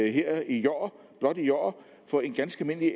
her i år blot i år for en ganske